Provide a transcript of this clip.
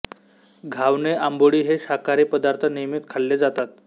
घावणे आंबोळी हे शाकाहारी पदार्थ नियमित खाल्ले जातात